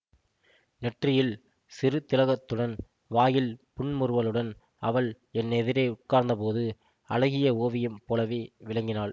நெற்றியில் சிறு திலகத்துடன் வாயில் புன்முறுவலுடன் அவள் என் எதிரே உட்கார்ந்தபோது அழகிய ஓவியம் போலவே விளங்கினாள்